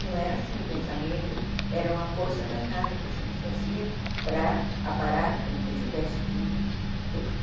Não era assim o pensamento, era uma força danada que a gente fazia para aparar tudo que tivesse de torto.